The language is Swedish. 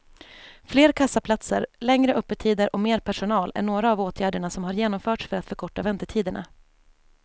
Fler kassaplatser, längre öppettider och mer personal är några av åtgärderna som har genomförts för att förkorta väntetiderna.